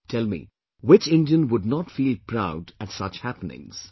Tell me, which Indian would not feel proud at such happenings